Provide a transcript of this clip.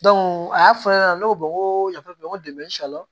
a y'a fɔ ne ɲɛna ne ko n ko yafa bi n ko